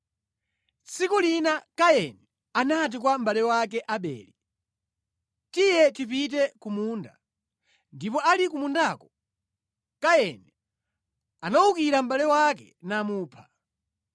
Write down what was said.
Tsiku lina Kaini anati kwa mʼbale wake Abele, “Tiye tipite ku munda.” Ndipo ali ku mundako, Kaini anawukira mʼbale wake namupha.